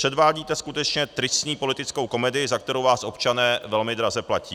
Předvádíte skutečně tristní politickou komedii, za kterou vás občané velmi draze platí.